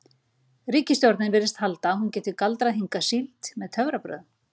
Ríkisstjórnin virðist halda að hún geti galdrað hingað síld með töfrabrögðum.